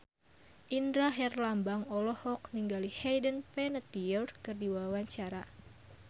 Indra Herlambang olohok ningali Hayden Panettiere keur diwawancara